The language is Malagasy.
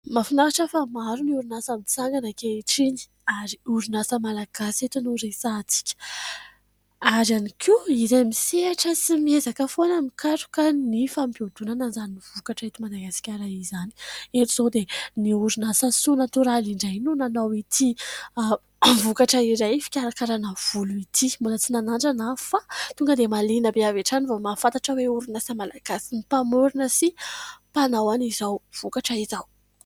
Mahafinaritra fa maro ny orinasa mitsangana ankehitriny ary orinasa malagasy eto no resahatsika. Ary ihany koa, irao misehatra sy miezaka foana mikaroka ny fampiodonana izany vokatra eto Madagasikara izany. Eto izao dia ny orinasa Soa natoraly indray no nanao ity vokatra iray fikarakarana volo ity. Mbola tsy nanandrana aho fa tonga dia mahaliana ahy avy hatrany vao mahafantatra hoe orinasa malagasy ny mpamorina sy mpanao an' izao vokatra izao.